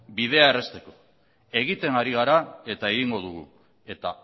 bidea errazteko egiten ari gara eta egingo dugu eta